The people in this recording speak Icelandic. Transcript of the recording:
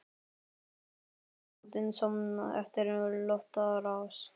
Eldhúsið leit út eins og eftir loftárás.